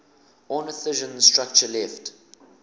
ornithischian structure left